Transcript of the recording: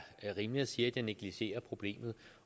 rimeligt at sige at jeg negligerer problemet